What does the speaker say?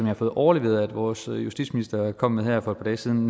har fået overleveret af vores justitsminister og kom med her for et par dage siden